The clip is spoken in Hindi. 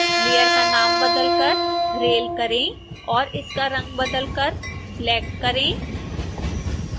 लेयर का नाम बदलकर rail करें और इसका रंग बदलकर black करें